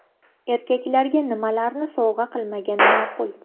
Erkaklarga nimalarni sovg‘a qilmagan ma’qul?.